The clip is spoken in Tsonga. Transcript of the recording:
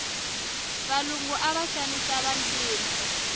valungu ava xanisa vantima